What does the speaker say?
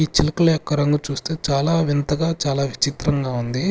ఈ చిలుకలు యొక్క రంగు చూస్తే చాలా వింతగా చాలా విచిత్రంగా ఉంది.